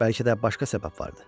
Bəlkə də başqa səbəb vardı.